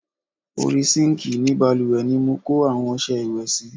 Orí sinkii ni bálùwẹ̀ ni mo kó àwọn ọsẹ ìwẹ̀ sí.